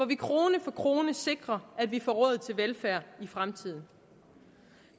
vi krone for krone sikrer at vi får råd til velfærd i fremtiden